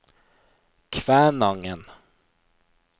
Kvænangen